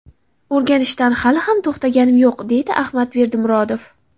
O‘rganishdan hali ham to‘xtaganim yo‘q”, deydi Ahmad Berdimurodov.